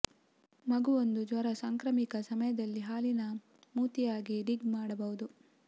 ಮಗು ಒಂದು ಜ್ವರ ಸಾಂಕ್ರಾಮಿಕ ಸಮಯದಲ್ಲಿ ಹಾಲಿನ ಮೂತಿ ಆಗಿ ಡಿಗ್ ಮಾಡಬಹುದು